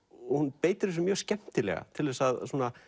hún beitir þessu mjög skemmtilega til að